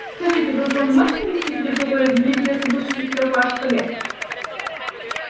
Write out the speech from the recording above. скажите вы уполномочены вести переговоры или мне придётся выслушать и трёх ваших коллег